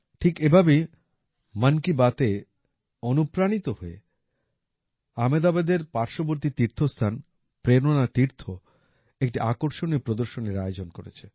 ঠিক এভাবেই মন কী বাতের দ্বারা অনুপ্রাণিত হয়ে আহমেদাবাদের পার্শ্ববর্তী তীর্থস্থান প্রেরণা তীর্থ একটি আকর্ষণীয় প্রদর্শনীর আয়োজন করেছে